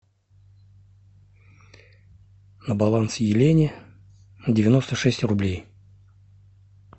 на баланс елене девяносто шесть рублей